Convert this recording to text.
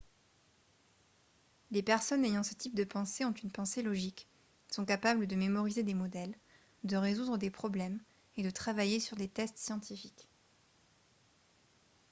les personnes ayant ce type de pensées ont une pensée logique sont capables de mémoriser des modèles de résoudre des problèmes et de travailler sur des tests scientifiques